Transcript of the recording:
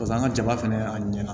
Pas'an ka jaba fɛnɛ a ɲɛna